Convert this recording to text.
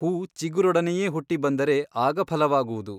ಹೂ ಚಿಗುರೊಡನೆಯೇ ಹುಟ್ಟಿಬಂದರೆ ಆಗ ಫಲವಾಗುವುದು.